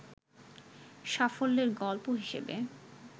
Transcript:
সাফল্যের গল্প হিসেবে